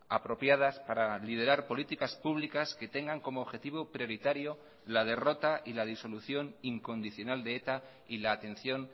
apropiadas para liderar políticas públicas que tengan como objetivo prioritario la derrota y la disolución incondicional de eta y la atención